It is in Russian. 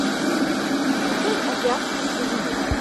включай азиатский связной